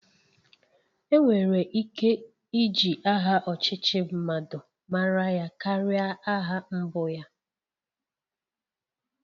Enwere ike iji aha ọchịchị mmadụ mara ya karia aha mbụ ya